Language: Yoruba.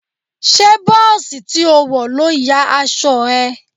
Ṣé bọ́ọ̀sì tí ó wọ̀ ló ya aṣọ ẹ?